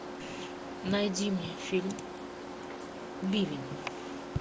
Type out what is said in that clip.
найди мне фильм бивень